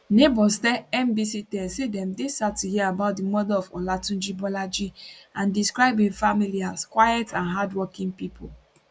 neighbors tell nbc10 say dem dey sad to hear about di murder of olatunji bolaji and describe im family as quiet and hardworking pipo